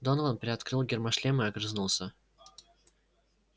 донован приоткрыл гермошлем и огрызнулся